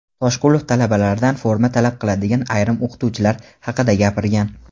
Toshqulov talabalardan forma talab qiladigan ayrim o‘qituvchilar haqida gapirgan.